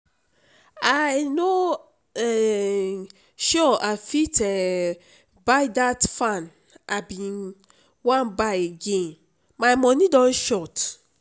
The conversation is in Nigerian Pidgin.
i no um sure i fit um buy that fan i bin wan buy again my money don short